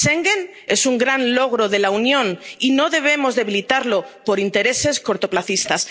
Schengen es un gran logro de la Unión y no debemos debilitarlo por intereses cortoplacistas.